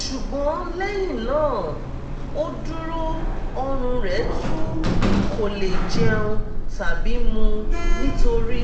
ṣùgbọ́n lẹ́yìn náà ó dúró ọ̀rùn rẹ̀ tú kò lè jẹun tàbí mu nítorí